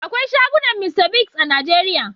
Akwai shagunan Mr Biggs a Najeria.